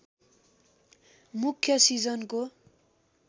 मुख्य सिजनको